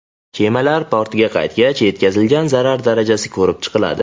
Kemalar portga qaytgach, yetkazilgan zarar darajasi ko‘rib chiqiladi.